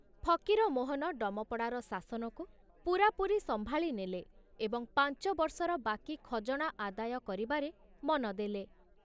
ଫକୀରମୋହନ ଡମପଡ଼ାର ଶାସନକୁ ପୂରାପୂରି ସମ୍ଭାଳି ନେଲେ ଏବଂ ପାଞ୍ଚବର୍ଷର ବାକି ଖଜଣା ଆଦାୟ କରିବାରେ ମନ ଦେଲେ।